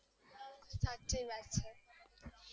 સાચી વાત છે